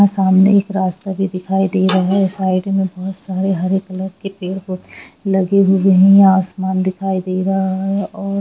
और यहां सामने से रास्ता भी दिखाई दे रहा है और साइड मे बहुत हरे कॉलर के पेड़ लगे हुए है आसमान दिखाइ दे रहा है और--